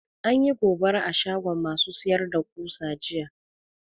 Anyi gobara a shagon ma su sayar da ƙusa jiya